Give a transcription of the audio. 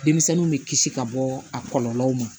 Denmisɛnninw bɛ kisi ka bɔ a kɔlɔlɔw ma